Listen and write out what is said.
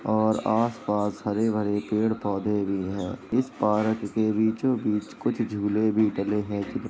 और आस-पास हरे-भरे पेड़ पौधे भी है। इस पार्क के बीचो-बीच कुछ झूले भी डले है।